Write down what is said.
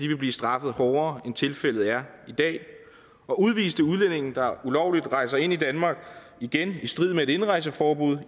vil blive straffet hårdere end tilfældet er i dag og udviste udlændinge der ulovligt rejser ind i danmark igen i strid med et indrejseforbud